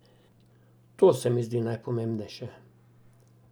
To se mi zdi najpomembnejše.